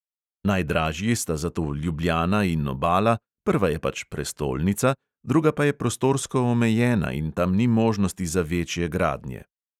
Najdražji sta zato ljubljana in obala, prva je pač prestolnica, druga pa je prostorsko omejena in tam ni možnosti za večje gradnje.